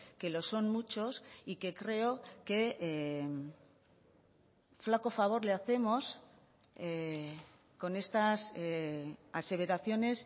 que lo son muchos y que creo que flaco favor le hacemos con estas aseveraciones